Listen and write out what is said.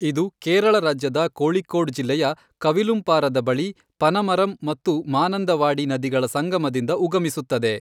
ಇದು ಕೇರಳ ರಾಜ್ಯದ ಕೋಳಿಕ್ಕೋಡ್ ಜಿಲ್ಲೆಯ ಕವಿಲುಂಪಾರದ ಬಳಿ ಪನಮರಮ್ ಮತ್ತು ಮಾನಂದವಾಡಿ ನದಿಗಳ ಸಂಗಮದಿಂದ ಉಗಮಿಸುತ್ತದೆ.